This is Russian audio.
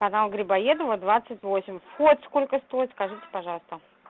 канал грибоедова двадцать восемь вход сколько стоит скажите пожалуйста